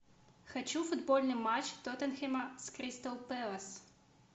хочу футбольный матч тоттенхэма с кристал пэлас